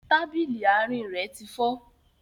Tábìlì àárín rẹ ti fọ́